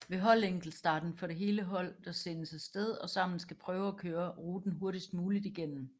Ved holdenkeltstarten er det hele hold der sendes afsted og sammen skal prøve at køre ruten hurtigst muligt igennem